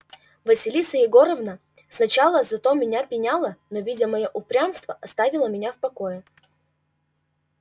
василиса егоровна сначала за то мне пеняла но видя моё упрямство оставила меня в покое